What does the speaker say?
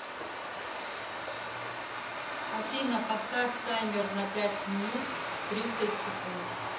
афина поставь таймер на пять минут тридцать секунд